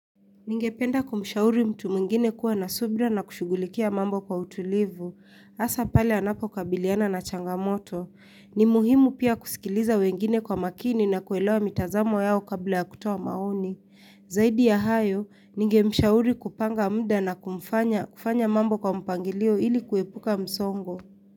Ningependa kumshauri mtu mwingine kuwa na subra na kushugulikia mambo kwa utulivu, asa pale anapo kabiliana na changamoto. Ni muhimu pia kusikiliza wengine kwa makini na kuelewa mitazamo yao kabla ya kutuo maoni. Zaidi ya hayo, ningemshauri kupanga mda na kufanya mambo kwa mpangilio ili kuepuka msongo.